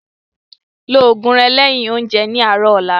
Ló oògùn rẹ lẹ́yin oúnjẹ ní àárọ̀ ọ̀la